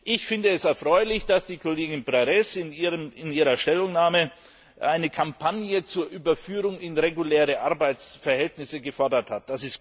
Ich finde es erfreulich, dass die Kollegin Berès in ihrer Stellungnahme eine Kampagne zur Überführung in reguläre Arbeitsverhältnisse gefordert hat.